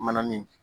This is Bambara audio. Mana min